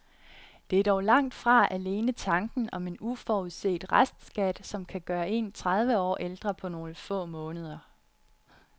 Det er dog langt fra alene tanken om en uforudset restskat, som kan gøre en tredive år ældre på nogle få måneder.